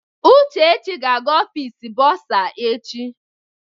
Uchechi ga-aga Ọfịs bọrzà echi.